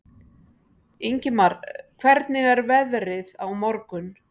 Ingimar, hvernig er veðrið á morgun?